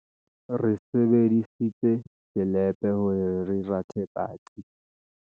re sebedisitse selepe hore re rathe patsi